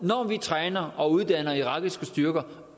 når vi træner og uddanner irakiske styrker